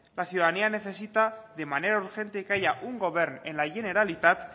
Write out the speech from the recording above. la ciudadanía necesita de manera urgente que haya un govern en la generalitat